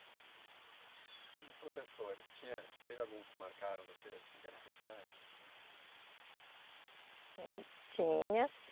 E os professores, tinha, teve alguns que marcaram você assim que eram especiais? Hum, Tinha